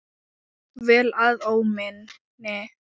Jafnvel að óminni.